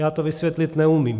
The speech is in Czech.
Já to vysvětlit neumím.